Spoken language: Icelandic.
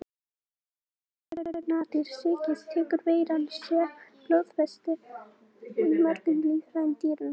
Þegar músin eða önnur nagdýr sýkjast tekur veiran sér bólfestu í mörgum líffærum dýranna.